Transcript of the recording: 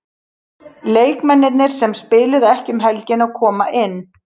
Leikmennirnir sem spiluðu ekki um helgina koma inn.